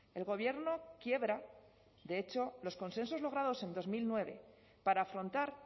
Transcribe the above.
el gobierno quiebra de hecho los consensos logrados en dos mil nueve para afrontar